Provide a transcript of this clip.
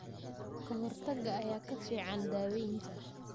Ka-hortagga ayaa ka fiican daawaynta.